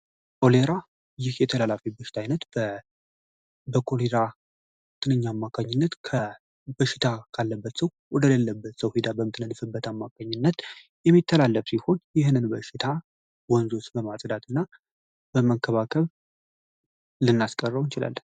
ኦሌራ ይህ የተላላፊ ብችት ዓይነት በኮሌራ ትንኛ አማካኝነት ከበሽታ ካለበት ሰው ወደሌለበት ሰው ሂዳ በምትነንፍበት አማካኝነት የሚተላለብ ሲሆን ይህንን በሽታ ወንዞስ በማጽዳት እና በመከባከብ ልናስቀረው ይችላል፡፡